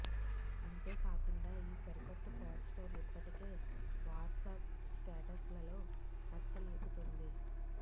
అంతే కాకుండా ఈ సరికొత్త పోస్టర్ ఇప్పటికే వాట్సాప్ స్టేటస్ లలో రచ్చ లేపుతుంది